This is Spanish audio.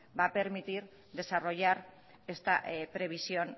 va a permitir desarrollar esta previsión